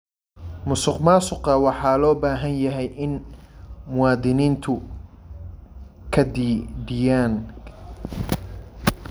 Musuqmaasuqa waxa loo baahan yahay in muwaadiniintu ka dhiidhiyaan.